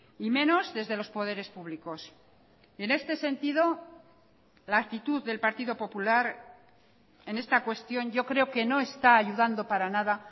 y menos desde los poderes públicos en este sentido la actitud del partido popular en esta cuestión yo creo que no está ayudando para nada